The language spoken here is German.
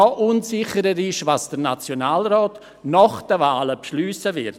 Noch unsicherer ist, was der Nationalrat nach den Wahlen beschliessen wird.